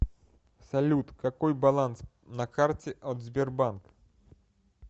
салют какой баланс на карте от сбербанк